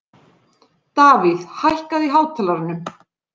Davíð, hækkaðu í hátalaranum.